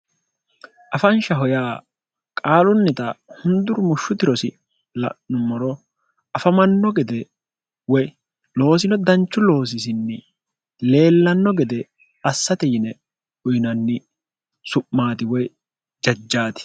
afanshaho yaa qaalunnita hunduru mushshutirosi la'nu moro afamanno gede woy loosino danchu loosisinni leellanno gede assate yine uyinanni su'maati woy jajjaati